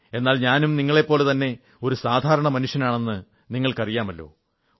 എന്നാൽ ഞാനും നിങ്ങളെപ്പോലെതന്നെ ഒരു സാധാരണ മനുഷ്യനാണെന്ന് നിങ്ങൾക്കറിയാമല്ലോ